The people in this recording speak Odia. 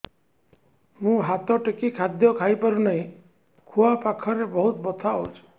ମୁ ହାତ ଟେକି ଖାଦ୍ୟ ଖାଇପାରୁନାହିଁ ଖୁଆ ପାଖରେ ବହୁତ ବଥା ହଉଚି